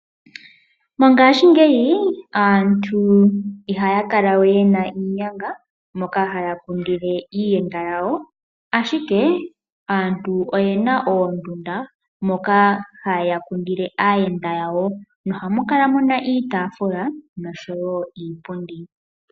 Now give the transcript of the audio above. Mongaashi ngeyi aantu ihaya kala we yena iinyanga moka haya kundile aayenda yawo, ashike aantu oyena oondunda moka haya kundile aayenda yawo nohamu kala muna iitafula niipundi.